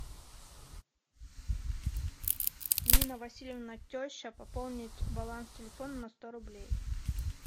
нина васильевна теща пополнить баланс телефона на сто рублей